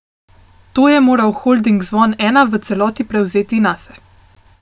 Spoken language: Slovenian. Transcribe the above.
To je moral holding Zvon Ena v celoti prevzeti nase.